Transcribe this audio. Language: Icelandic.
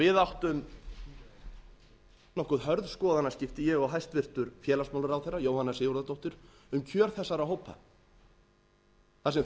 við áttum nokkuð hörð skoðanaskipti ég og hæstvirtur félagsmálaráðherra jóhanna sigurðardóttir um kjör þessara hópa þar sem